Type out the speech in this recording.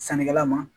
Sannikɛla ma